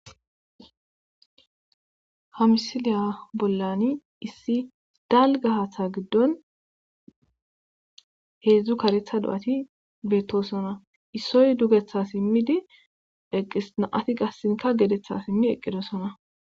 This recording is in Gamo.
Hamisiliya bollani issi dalgahatha giddon heedzdzu karetha do7ati beettosona issoy dugetha simmidi eqisnaati gassinka gedetha simmi eqqidosona.